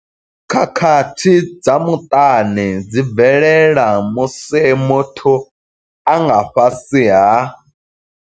Khakhathi dza muṱani dzi bvelela musi muthu a nga fhasi ha.